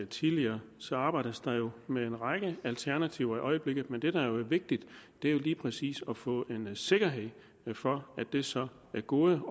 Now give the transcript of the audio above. tidligere så arbejdes der med en række alternativer i øjeblikket men det der jo er vigtigt er lige præcis at få en sikkerhed for at det så er gode